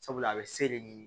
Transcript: Sabula a bɛ se de ɲini